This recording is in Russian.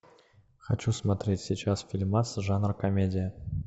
хочу смотреть сейчас фильмас жанра комедия